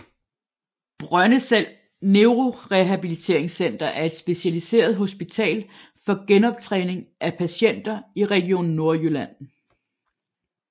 Brøndeselv Neurorehabiliteringscenter er et specialiseret hospital for genoptræning af patienter i Region Nordjylland